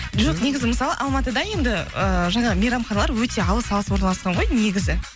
жоқ негізі мысалы алматыда енді ыыы жаңағы мейрамханалар өте алыс алыс орналасқан ғой негізі